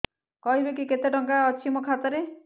କହିବେକି କେତେ ଟଙ୍କା ଅଛି ମୋ ଖାତା ରେ